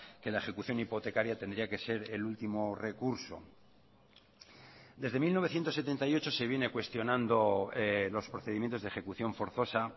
que la ejecución hipotecaria tendría que ser el último recurso desde mil novecientos setenta y ocho se viene cuestionando los procedimientos de ejecución forzosa